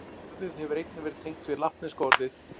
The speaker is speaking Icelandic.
Orðið hefur einnig verið tengt við latneska orðið